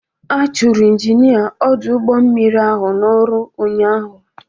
A chụrụ Injinia ọdụ ụgbọ mmiri ahụ n'ọrụ ụnyaahụ.